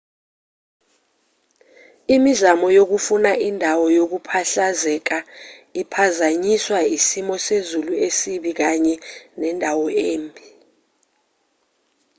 imizamo yokufuna indawo yokuphahlazeka iphazanyiswa isimo sezulu esibi kanye nendawo embi